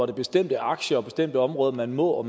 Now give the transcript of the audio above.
er bestemte aktier og bestemte områder man må og